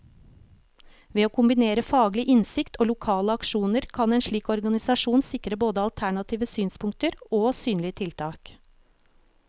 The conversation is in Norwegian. Ved å kombinere faglig innsikt og lokale aksjoner, kan en slik organisasjon sikre både alternative synspunkter og synlige tiltak.